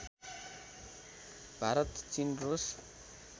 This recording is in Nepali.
भारत चिन रुस